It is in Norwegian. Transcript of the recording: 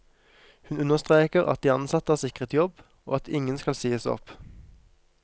Hun understreker at de ansatte er sikret jobb, og at ingen skal sies opp.